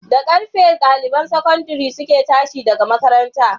Da karfe ɗaliban sakandare suke tashi daga makaranta?